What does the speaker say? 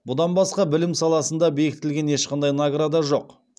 бұдан басқа білім саласында бектіліген ешқандай награда жоқ